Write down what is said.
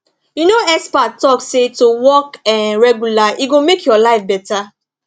you know experts talk say to walk um regular e go make your life better